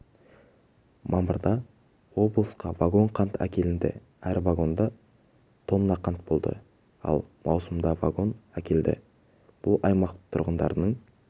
мамырда облысқа вагон қант әкелінді әр вагонда тоннақант болды ал маусымда вагон әкелді бұл аймақ тұрғындарының